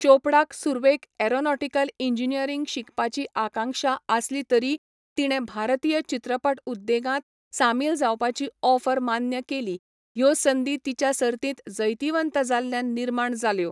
चोपडाक सुरवेक aeronautical engineering शिकपाची आकांक्षा आसली तरी तिणें भारतीय चित्रपट उद्देगांत सामील जावपाचीं ऑफर मान्य केलीं, ह्यो संदी तिच्या सर्तींत जैतिवंत जाल्ल्यान निर्माण जाल्यो.